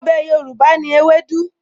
Ọbẹ̀ Yorùbá ni ewédú